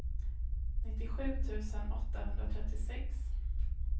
nittiosju tusen åttahundratrettiosex